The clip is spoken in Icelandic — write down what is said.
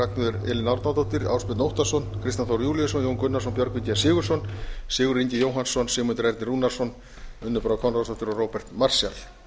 ragnheiður elín árnadóttir ásbjörn óttarsson kristján þór júlíusson jón gunnarsson björgvin g sigurðsson sigurður ingi jóhannsson sigmundur ernir rúnarsson unnur brá konráðsdóttir og róbert marshall